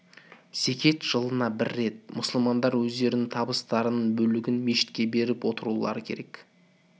зекет жылына бір рет мұсылмандар өздерінің табыстарының бөлігін мешітке беріп отырулары керек